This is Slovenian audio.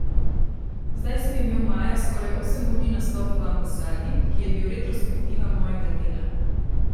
Zdaj sem imel maja skoraj osem urni nastop v Ambasadi, ki je bil retrospektiva mojega dela.